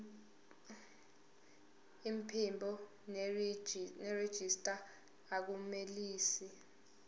iphimbo nerejista akunelisi